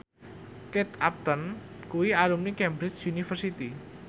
Kate Upton kuwi alumni Cambridge University